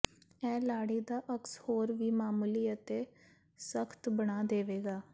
ਇਹ ਲਾੜੀ ਦਾ ਅਕਸ ਹੋਰ ਵੀ ਮਾਮੂਲੀ ਅਤੇ ਸਖਤ ਬਣਾ ਦੇਵੇਗਾ